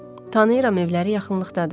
Tanıyıram, evləri yaxınlıqdadır.